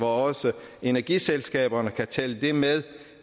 også energiselskaberne vil kunne tælle det med